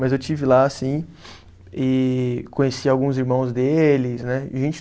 Mas eu estive lá, sim, e conheci alguns irmãos deles, né? Gente